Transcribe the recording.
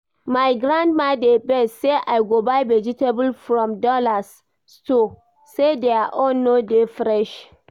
My grandmama dey vex say I go buy vegetable from Dallas Stores, say their own no dey fresh